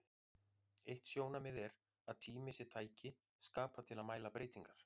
Eitt sjónarmiðið er að tími sé tæki skapað til að mæla breytingar.